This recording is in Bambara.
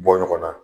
Bɔ ɲɔgɔn na